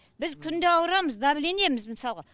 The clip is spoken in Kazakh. біз күнде ауырамыз давлениеміз мысалға